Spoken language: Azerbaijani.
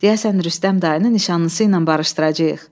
Deyəsən Rüstəm dayını nişanlısıyla barışdıracağıq.